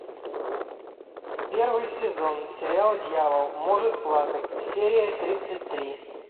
первый сезон сериал дьявол может плакать серия тридцать три